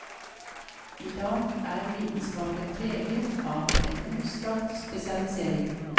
I dag er vitenskapen preget av en utstrakt spesialisering.